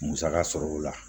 Musaka sɔrɔ o la